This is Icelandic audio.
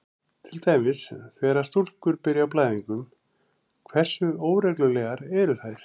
Til dæmis: Þegar stúlkur byrja á blæðingum, hversu óreglulegar eru þær?